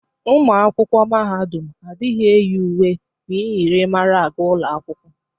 Ụmụ akwụkwọ mahadum adịghị eyi uwe myịrịmara aga ụlọ akwụkwọ.